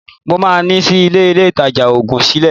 Mo máa ṣí ilé-ìtajà òògùn sílẹ̀